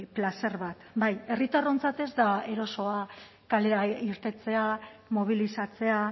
plazer bat bai herritarrontzat ez da erosoa kalera irtetea mobilizatzea